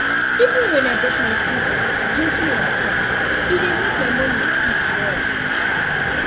even when i brush my teeth gently and calm e dey make my morning sweet well